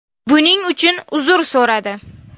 buning uchun uzr so‘radi.